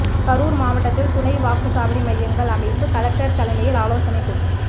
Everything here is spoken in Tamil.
கரூர் மாவட்டத்தில் துணை வாக்கு சாவடி மையங்கள் அமைப்பு கலெக்டர் தலைமையில் ஆலோசனை கூட்டம்